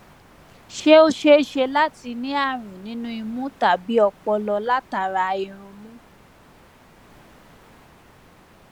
ṣé ó ṣe é ṣe láti ní àrùn nínú imú tàbí ọpọlọ látara irunmú